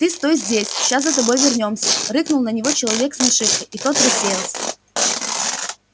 ты стой здесь ща за тобой вернёмся рыкнул на него человек с нашивкой и тот рассеялся